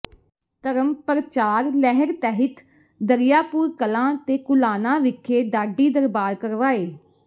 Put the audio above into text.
ਧਰਮ ਪ੍ਰਚਾਰ ਲਹਿਰ ਤਹਿਤ ਦਰੀਆਪੁਰ ਕਲਾਂ ਤੇ ਕੁਲਾਣਾ ਵਿਖੇ ਢਾਡੀ ਦਰਬਾਰ ਕਰਵਾਏ